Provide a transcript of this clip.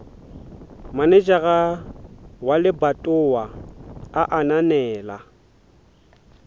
manejara wa lebatowa a ananela